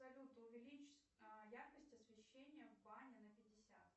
салют увеличь яркость освещения в бане на пятьдесят